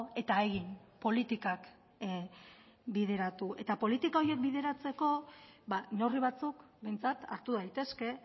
eta egin politikak bideratu eta politika horiek bideratzeko neurri batzuk behintzat hartu daitezke